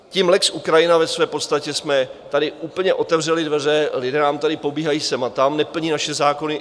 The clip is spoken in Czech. Tím lex Ukrajina ve své podstatě jsme tady úplně otevřeli dveře, lidé nám tady pobíhají sem a tam, neplní naše zákony.